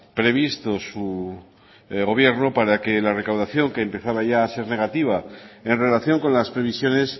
previsto su gobierno para que la recaudación que empezaba ya a ser negativa en relación con las previsiones